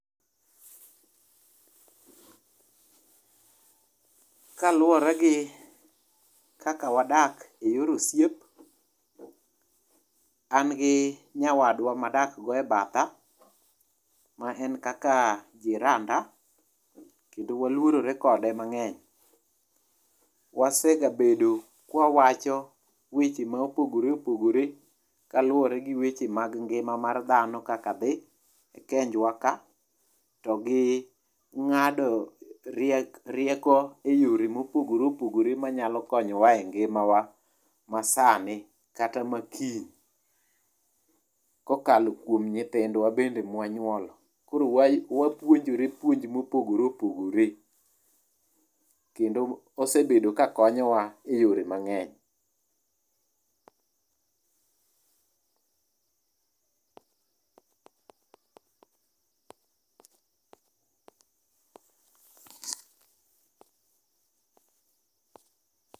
kaluwore gi kaka wadak e yor osiep an gi nyawadwa madak go ebatha ma en kaka jiranda kendo waluorore kode mang'eny. Wasegabedo kwawacho weche ma opogore opogore kaluwore gi weche mag ngima mar dhano kaka dhi e kenjwa to gi ng'ado rie rieko e yore mopogore opogore manyalo konyowa e ngimawa ma sani kata makiny kokalo kuom nyithindwa bende mwanyuolo .Koro wa wapuonjore puonj mopogore opogore kendo osebedo kakonyowa e yore mang'eny.